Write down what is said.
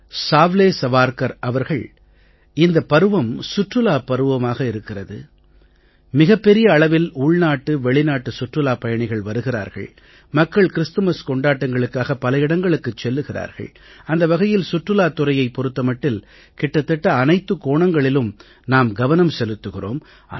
சாவ்லே சவார்க்கர் அவர்கள் இந்தப் பருவம் சுற்றுலாப் பருவமாக இருக்கிறது மிகப் பெரிய அளவில் உள்நாட்டு வெளிநாட்டு சுற்றுலாப் பயணிகள் வருகிறார்கள் மக்கள் கிறிஸ்துமஸ் கொண்டாட்டங்களுக்காக பலவிடங்களுக்குச் செல்கிறார்கள் அந்த வகையில் சுற்றுலாத் துறையைப் பொறுத்த மட்டில் கிட்டத்தட்ட அனைத்துக் கோணங்களிலும் நாம் கவனம் செலுத்துகிறோம்